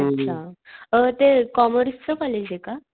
अच्छा अ ते कॉमर्सच कॉलेजे का?